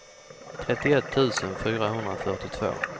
trettioett tusen fyrahundrafyrtiotvå